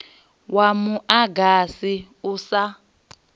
wa mu agasi u sa